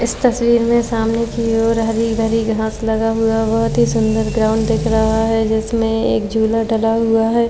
इस तस्वीर में सामने की ओर हरी भरी घांस लगा हुवा बहोत ही सुंदर ग्राउंड दिख रहा है जिसमें एक झूला डला हुवा है।